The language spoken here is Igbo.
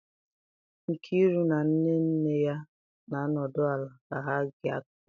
Nkiru na nne nne ya na-anọdụ ala ka ha gee akụkọ ifo